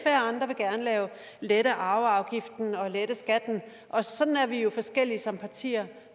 lette arveafgiften og skatten og sådan er vi jo forskellige som partier